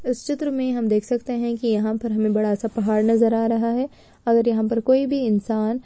इस चित्र में हम देख सकते है की यहां पर हमें बड़ा सा पहाड़ नजर आ रहा है। अगर यहां पर कोई भी इंसान--